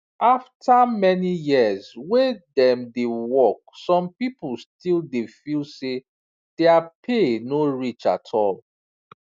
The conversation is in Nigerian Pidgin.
after many years wey dem dey work some people still dey feel say their pay no reach at all